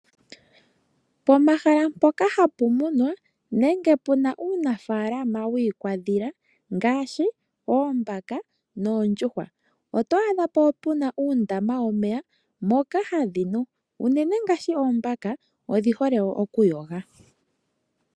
Pomahala mpoka hapu munwa nenge puna uunafalama wiikwadhila ngaashi oombaka noondjuhwa oto adha po puna uundama womeya moka hadhi nu unene ngaashi oombaka odhi hole wo okuyoga.